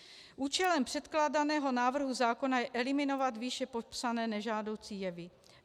Účelem předkládaného návrhu zákona je eliminovat výše popsané nežádoucí jevy.